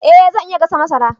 Eh zan iya gasa masara